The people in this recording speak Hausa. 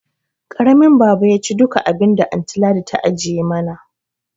Karamin baba yaci duka abinda anty Ladi ta ajiye mana